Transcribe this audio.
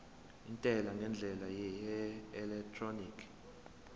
intela ngendlela yeelektroniki